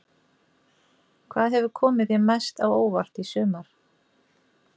Hvað hefur komið þér mest á óvart í sumar?